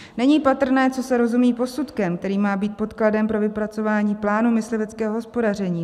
Není patrné, co se rozumí posudkem, který má být podkladem pro vypracování plánu mysliveckého hospodaření.